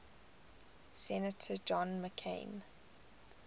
senator john mccain